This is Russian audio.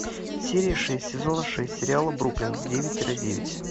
серия шесть сезона шесть сериала бруклин девять тире девять